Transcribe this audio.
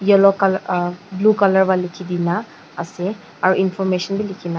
yellow color uhh blue color va liki dina ase aro information b liki na.